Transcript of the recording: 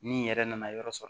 Ni yɛrɛ nana yɔrɔ sɔrɔ